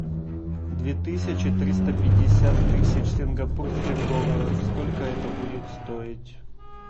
две тысячи триста пятьдесят тысяч сингапурских долларов сколько это будет стоить